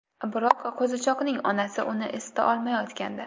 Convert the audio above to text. Biroq qo‘zichoqning onasi uni isita olmayotgandi.